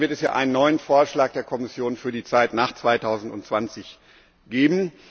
Dann wird es hier einen neuen Vorschlag der Kommission für die Zeit nach 2020 geben.